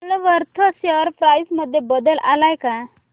Woolworth share price मध्ये बदल आलाय का